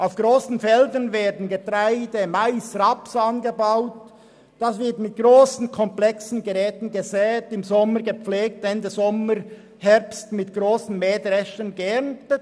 Auf grossen Feldern werden Getreide, Mais und Raps angebaut und mit grossen, komplexen Geräten gesät, im Sommer gepflegt und Ende Sommer bis Herbst mit grossen Mähdreschern geerntet.